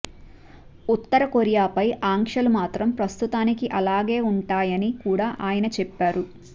ఉత్తర కొరియాపై ఆంక్షలు మాత్రం ప్రస్తుతానికి అలాగే ఉంటాయ ని కూడా ఆయన చెప్పారు